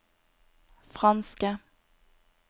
franske